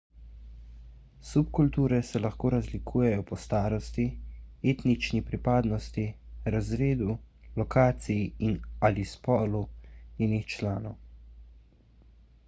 subkulture se lahko razlikujejo po starosti etnični pripadnosti razredu lokaciji in/ali spolu njenih članov